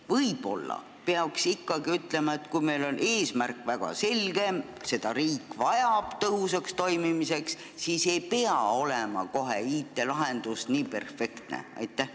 Võib-olla peaks ikkagi ütlema, et kui meil on eesmärk väga selge ja riik vajab seda tõhusaks toimimiseks, siis ei pea IT-lahendus kohe nii perfektne olema.